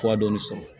Fuwa dɔɔnin sɔrɔ